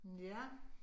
Ja